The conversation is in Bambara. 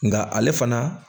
Nka ale fana